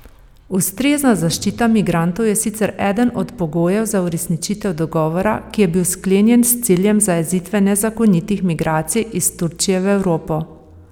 Ustrezna zaščita migrantov je sicer eden od pogojev za uresničitev dogovora, ki je bil sklenjen s ciljem zajezitve nezakonitih migracij iz Turčije v Evropo.